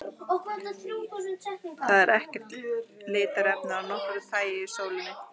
Það er ekkert litarefni af nokkru tagi í sólinni.